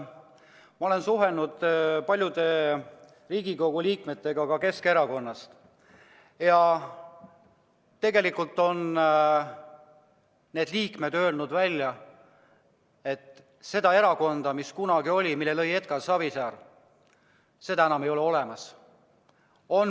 Ma olen suhelnud paljude Riigikogu liikmetega Keskerakonnast ja tegelikult on need liikmed öelnud välja, et seda erakonda, mille kunagi lõi Edgar Savisaar, ei ole olemas.